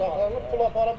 Bıçaqla pul apara bilibdir?